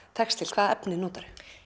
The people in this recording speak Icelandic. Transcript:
hvaða efni notarðu